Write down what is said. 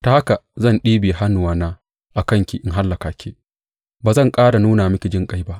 Ta haka zan ɗibiya hannuwana a kanki in hallaka ki; ba zan ƙara nuna miki jinƙai ba.